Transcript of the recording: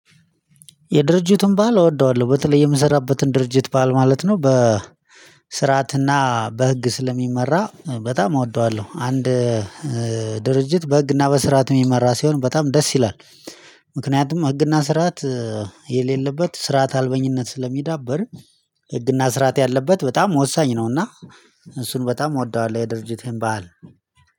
የድርጅቱን ባህል እወደዋለሁ በተለይ የምሰራበትን ድርጅት ባህል ማለት ነው በ ስርዓትና በህግ ስለሚመራ በጣም እወደዋለሁ። አንድ ድርጅት በህግና በስርዓት የሚመራ ሲሆን በጣም ደስ ይላል። ምክንያቱም ህግና ስርዓት የሌለበት ስርዓት አልበኝነት ስለሚዳብር። ህግና ስርዓት ያለበት በጣም ወሳኝ ነው። እና እሱን በጣም እወደዋለሁ። የድርጅቴን ባህል